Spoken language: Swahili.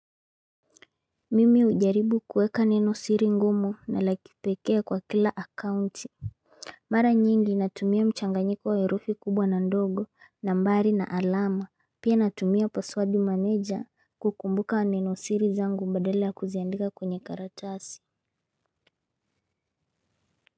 Mimi ujaribu kueka neno siri ngumu na la kipekee kwa kila akaunti. Mara nyingi natumia mchanganyiko wa herufi kubwa na ndogo nambari na alama. Pia natumia password manager kukumbuka neno siri zangu badala ya kuziandika kwenye karatasi.